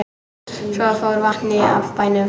Svo fór vatnið af bænum.